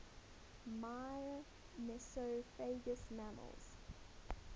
myrmecophagous mammals